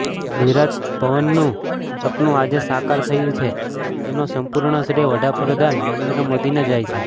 ગુજરાત ભવનનું સપનું આજે સાકાર થયું છે તેનો સંપૂર્ણ શ્રેય વડાપ્રધાન નરેન્દ્ર મોદીને જાય છે